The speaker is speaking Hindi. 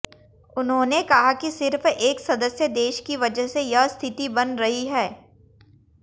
उन्होंने कहा कि सिर्फ एक सदस्य देश की वजह से यह स्थिति बन रही है